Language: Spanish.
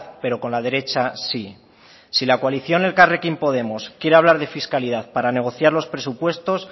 pero con la derecha sí si la coalición elkarrekin podemos quiere hablar de fiscalidad para negociar los presupuestos